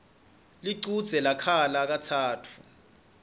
lichudze lakhala katsatfu